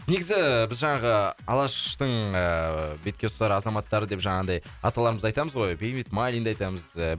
негізі біз жаңағы алаштың ыыы бетке ұстар азаматтары деп жаңағындай аталарымызды айтамыз ғой бейімбет майлинді айтамыз